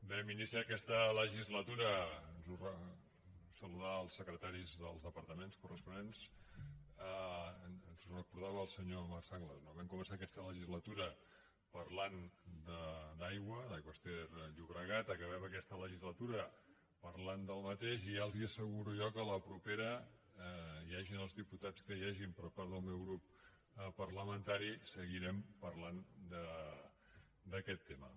vam iniciar aquesta legislatura saludar els secretaris dels departaments corresponents ens ho recordava el senyor marc sanglas no parlant d’aigua d’aigües ter llobregat acabem aquesta legislatura parlant del mateix i ja els asseguro jo que a la propera hi hagin els diputats que hi hagin per part del meu grup parlamentari seguirem parlant d’aquest tema